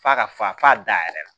F'a ka fa f'a da yɛrɛ la